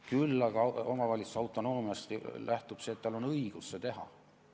Küll aga lähtub omavalitsuse autonoomiast see, et tal on õigus seda teha.